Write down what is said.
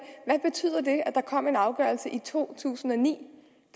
der kom en afgørelse i to tusind og ni